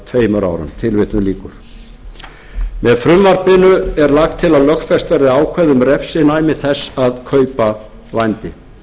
tveimur árum með frumvarpinu er lagt til að lögfest verði ákvæði um refsinæmi þess að kaupa vændi